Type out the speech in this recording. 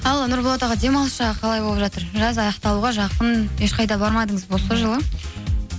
ал нұрболат аға демалыс жағы қалай болып жатыр жаз аяқталуға жақын ешқайда бармадыңыз ба осы жылы